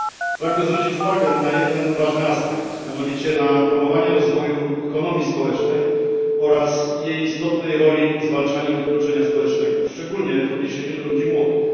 Pragnę zwrócić uwagę na jeden ważny aspekt mianowicie na promowanie rozwoju ekonomii społecznej oraz jej istotnej roli w zwalczaniu wykluczenia społecznego, szczególnie w odniesieniu do ludzi młodych.